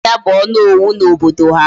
Nna ya bu Onowu na obodo ya